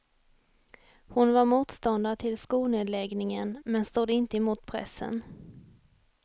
Hon var motståndare till skolnedläggningen men stod inte emot pressen.